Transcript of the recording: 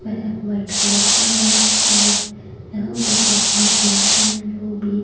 वह white colour का है और यहां पर एक मशीन है जो भी--